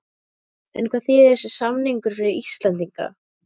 En hvað þýðir þessi samningur fyrir Íslendinga?